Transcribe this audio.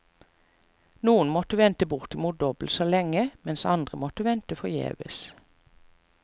Noen måtte vente bortimot dobbelt så lenge, mens andre måtte vente forgjeves.